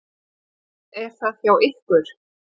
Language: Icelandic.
Er það hjá ykkur?